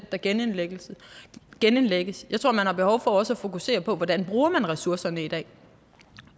der genindlægges genindlægges jeg tror at man har behov for også at fokusere på hvordan man bruger ressourcerne i dag